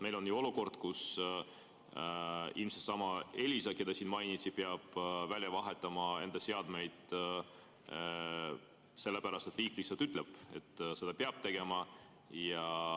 Meil on ju olukord, kus ilmselt seesama Elisa, keda siin mainiti, peab välja vahetama enda seadmed sellepärast, et riik lihtsalt ütleb, et seda peab tegema.